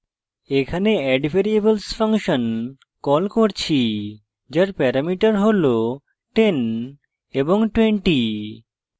এখানে addvariables function call করছি যার প্যারামিটার হল 10 এবং 20